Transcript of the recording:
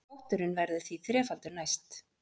Potturinn verður því þrefaldur næst